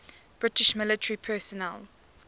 british military personnel